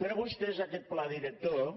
però vostès aquest pla director